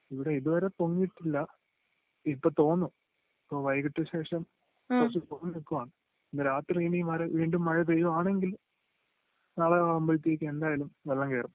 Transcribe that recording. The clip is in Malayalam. ഇവിടെ ഇതുവരെ പൊങ്ങീട്ടില്ല ഇപ്പൊ തോന്നും ഇപ്പോ വൈകീട്ട് ശേഷം ഇന്ന് രാത്രി ഇനി വീണ്ടും മഴ പെയ്യുവാണെങ്കിൽ നാളെ ആവുമ്പോഴത്തേക്കും എന്തായാലും വെള്ളം കേറും